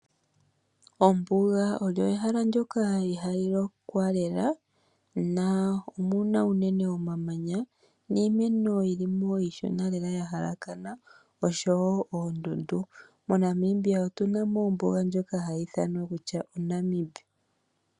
Ombuga olyo ehala ndoka ihali lokwa lela ,omuna iimeno iishona lela ,oshowo oondundu moNamibia otuna mo ombuga ndjoka hayi ithanwa kutya oNamib.